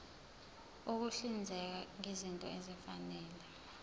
ukuhlinzeka ngezinto ezifanele